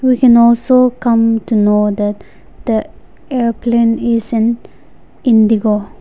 we can also come to know that the airplane is an indigo.